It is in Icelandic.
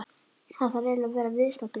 Hann þarf eiginlega að vera viðstaddur.